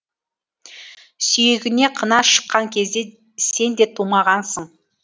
сүйегіне қына шыққан кезде сен де тумағансың